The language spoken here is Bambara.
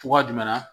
Cogoya jumɛn na